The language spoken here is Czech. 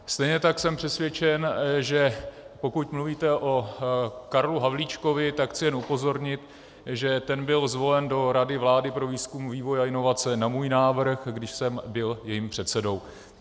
Stejně tak jsem přesvědčen, že pokud mluvíte o Karlu Havlíčkovi, tak chci jen upozornit, že ten byl zvolen do Rady vlády pro výzkum, vývoj a inovace na můj návrh, když jsem byl jejím předsedou.